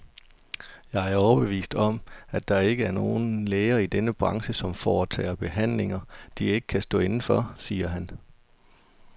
Jeg er overbevist om, at der ikke er nogen læger i denne branche, som foretager behandlinger, de ikke kan stå inde for, siger han.